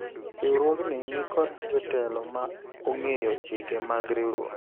riwruogni nikod jotelo ma ong'eyo chike mag riwruok